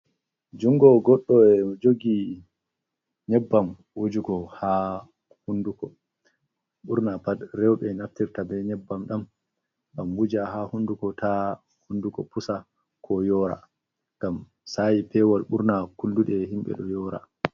Jungo goddo jogi nyebbam wujugo ha hunduko burna, pat rowbe naftirta be nyebbam dam, dam wuja ha hunduko ta hunduko pusa ko yora gam sayi pewal burna kuldude himbe do yora.